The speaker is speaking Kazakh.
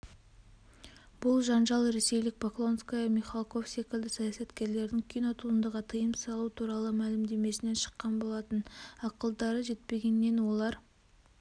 бұл жанжалресейлік поклонская михалков секілді саясаткерлердің кинотуындыға тыйым салу туралы мәлімдемесінен шыққан болатын ақылдары жетпегеннен олар